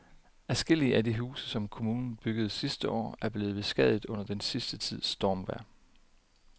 Adskillige af de huse, som kommunen byggede sidste år, er blevet beskadiget under den sidste tids stormvejr.